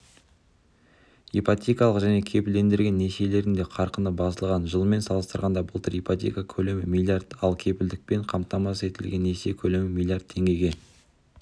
ипотекалық және кепілдендірілген несиелердің де қарқыны басылған жылмен салыстырғанда былтыр ипотека көлемі миллиард ал кепілдікпен қамтамасыз етілген несие көлемі миллиард теңгеге